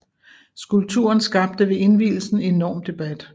Skulpturen skabte ved indvielsen enorm debat